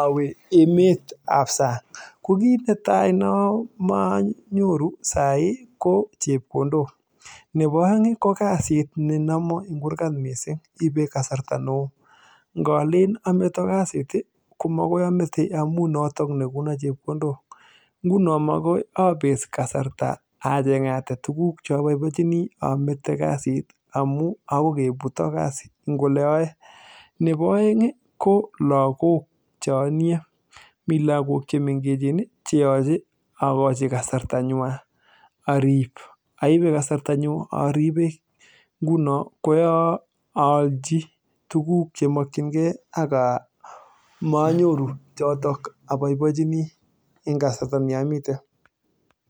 awe emet ap sang ko kiit netai nama anyoru sai ko chepkondok nepo oeng ko kasit ne nomon en kurkat mising koipei kasarta neo ngolen ameto kasit komokoi amete amu noto nekono chepkondok nguno makoi apet kasarta achengate tuguk chapaipachini amete kasit amu akoi keputo kasit eng ole ayoe nepo oeng ko lakok chonie mi lakok chemengech cheyochei akochi kasarta nywan arip aipe kasarta nyu aripe nguno koyo allchi tuguk chemakchinkee aka manyoru chotok aboibochini eng kasarta ni amite